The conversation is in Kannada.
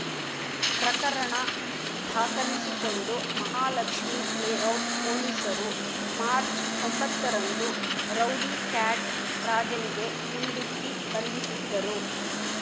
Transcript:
ಪ್ರಕರಣ ದಾಖಲಿಸಿಕೊಂಡು ಮಹಾಲಕ್ಷ್ಮಿ ಲೇಔಟ್ ಪೊಲೀಸರು ಮಾರ್ಚ್ ಒಂಬತ್ತ ರಂದು ರೌಡಿ ಕ್ಯಾಟ್ ರಾಜನಿಗೆ ಗುಂಡಿಕ್ಕಿ ಬಂಧಿಸಿದ್ದರು